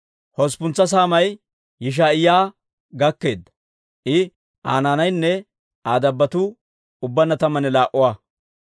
Hosppuntsa saamay Yishaa'iyaa gakkeedda; I, Aa naanaynne Aa dabbotuu ubbaanna tammanne laa"a.